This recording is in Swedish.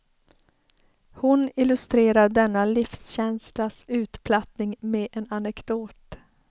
Hon illustrerar denna livskänslas utplattning med en anekdot.